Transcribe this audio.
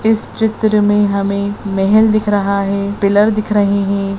इस चित्र में हमे महल दिख रहा है पिलर दिख रही है।